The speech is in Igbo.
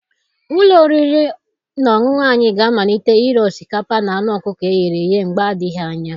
Ụlọ oriri na ọṅụṅụ anyị ga-amalite ire osikapa na anụ ọkụkọ e ghere eghe mgbe adịghị anya.